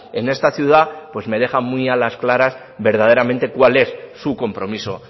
en esta ciudad pues me deja muy a las claras verdaderamente cuál es su compromiso